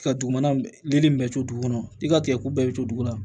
Ka dugu mana bɛɛ to dugu kɔnɔ i ka tigɛko bɛɛ bɛ to dugu la